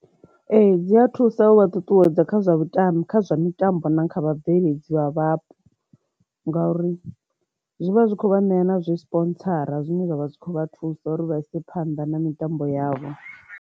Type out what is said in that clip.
Ee, dzi a thusa u vha ṱuṱuwedza kha zwa mitambo kha zwa mitambo na kha vha bveledzi vha vhapo nga uri zwi vha zwi kho vha ṋea na zwi sponsora zwine zwavha zwi kho vha thusa uri vha ise phanḓa na mitambo yavho.